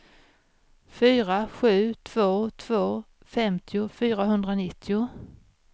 fyra sju två två femtio fyrahundranitton